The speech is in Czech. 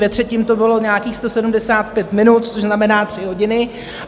Ve třetím to bylo nějakých 175 minut, což znamená tři hodiny.